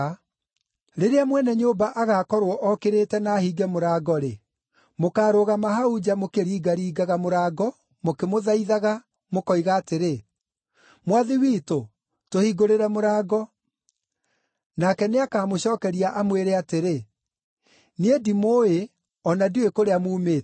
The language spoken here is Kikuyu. Rĩrĩa mwene nyũmba agaakorwo okĩrĩte na ahinge mũrango-rĩ, mũkaarũgama hau nja mũkĩringaringaga mũrango mũkĩmũthaithaga, mũkoiga atĩrĩ, ‘Mwathi witũ, tũhingũrĩre mũrango.’ “Nake nĩakamũcookeria amwĩre atĩrĩ, ‘Niĩ ndimũũĩ o na ndiũĩ kũrĩa muumĩte.’